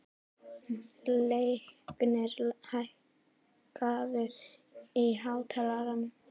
Leiknir, hækkaðu í hátalaranum.